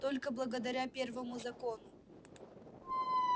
только благодаря первому закону